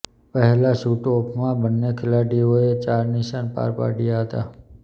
પહેલાં શૂટઓફમાં બંને ખેલાડીઓએ ચાર નિશાન પાર પાંડયા હતા